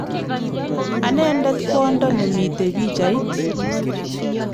Anendet kwondo nemitei pichait